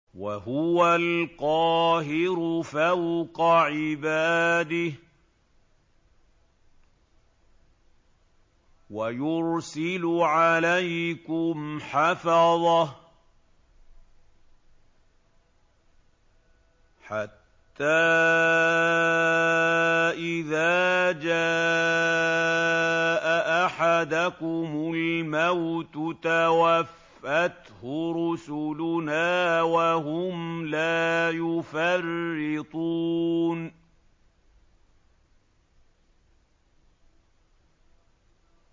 وَهُوَ الْقَاهِرُ فَوْقَ عِبَادِهِ ۖ وَيُرْسِلُ عَلَيْكُمْ حَفَظَةً حَتَّىٰ إِذَا جَاءَ أَحَدَكُمُ الْمَوْتُ تَوَفَّتْهُ رُسُلُنَا وَهُمْ لَا يُفَرِّطُونَ